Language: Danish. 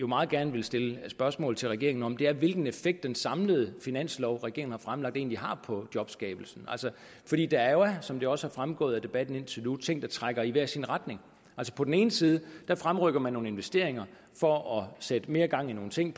meget gerne vil stille spørgsmål til regeringen om er hvilken effekt den samlede finanslov regeringen har fremlagt egentlig har på jobskabelsen som det også er fremgået af debatten indtil nu ting der trækker i hver sin retning på den ene side fremrykker man nogle investeringer for at sætte mere gang i nogle ting